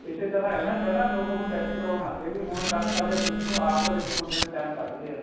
ਇਸੇ ਤਰ੍ਹਾਂ ਏ ਨਾ ਪਹਿਲਾਂ ਲੋਕ ਹੁਣ test ਕਰਾਉਣ ਲੱਗ ਗਏ ਵੀ ਹੁਣ ਕੱਲ ਨੂੰ ਸਾਡੇ ਬੱਚੇ ਨੂੰ ਆਪ ਤਾਂ ਦੇਖੋ ਬੰਦੇ ਨੇ time ਕੱਡ ਲਿਆ